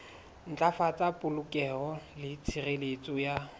ntlafatsa polokeho le tshireletso ya